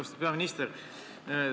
Austatud peaminister!